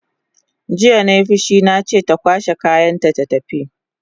Jiya nai fushi nace ta kwashe kayanta ta tafi!